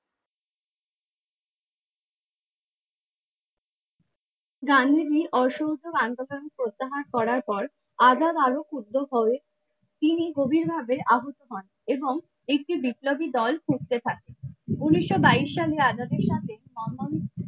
গান্ধীজী অসহযোগ আন্দোলন প্রত্যাহার করার পর আজাদ আরো ক্ষুব্ধ হয়ে তিনি গভীরভাবে আহত হন এবং একটি বিপ্লবী দল খুঁজতে থাকে উনিশশো বাইশ সালের আজাদের সাথে সম্বন্ধ।